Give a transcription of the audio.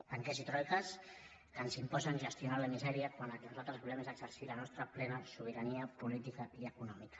banquers i troiques ens imposen gestionar la misèria quan el que nosaltres volem és exercir la nostra plena sobirania política i econòmica